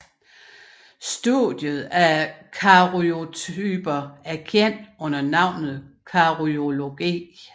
Studiet af karyotyper er kendt under navnet karyologi